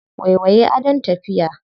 Waiwaye adon tafiya.